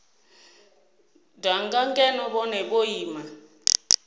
danga ngeno vhone vho ima